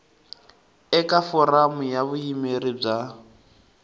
eka foramu ya vuyimeri bya